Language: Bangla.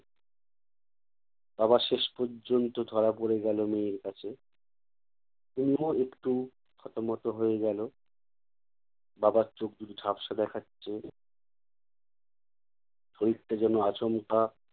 বাবা শেষ পর্যন্ত ধরা পড়ে গেল মেয়ের কাছে। তনুও একটু থতমত হয়ে গেলো। বাবার চোখ দুটো ঝাপসা দেখাচ্ছে। শরীরটা যেনো আচমকা